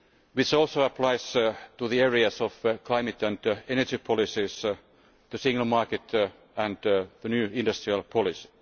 This also applies to the areas of climate and energy policies, the single market and the new industrial policy.